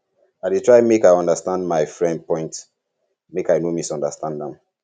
i dey try make i understand um my friend point make i no misunderstand am